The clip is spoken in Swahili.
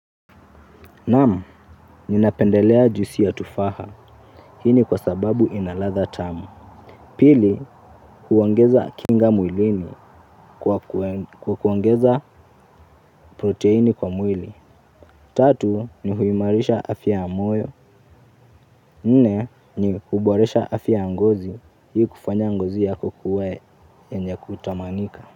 Naam, ninapendelea juisi ya tufaha. Hii ni kwa sababu ina ladha tamu. Pili, huongeza kinga mwilini kwa kuongeza proteini kwa mwili. Tatu, ni huimarisha afya ya moyo. Nne, ni huboresha afya ya ngozi. Hii kufanya ngozi yako kuwa yenye kutamanika.